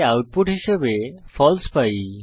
তাই আউটপুট হিসাবে ফালসে পাই